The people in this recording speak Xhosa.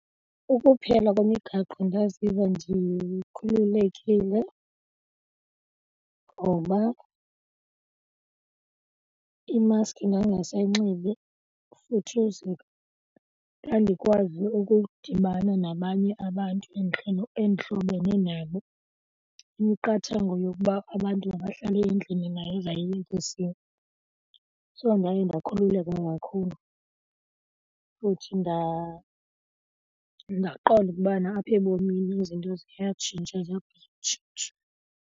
Ukuphela kwemigaqo ndaziva ndikhululekile ngoba imaski ndandingasayixibi futhiza ndandikwazi ukudibana nabanye abantu endihlobene nabo imiqathango yokuba abantu mabahlale endlini nayo zayiyekisiwe. So ndaye ndakhululeka kakhulu futhi ndaqonda ukubana apha ebomini izinto ziyatshintsha .